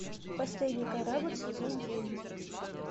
последний корабль сезон девять